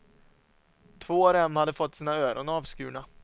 Två av dem hade fått sina öron avskurna.